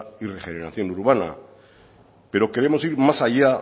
y regeneración urbana pero queremos ir más allá